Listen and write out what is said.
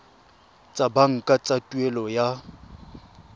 tsa banka tsa tuelo ya